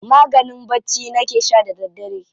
Maganin bacci nake sha da daddare.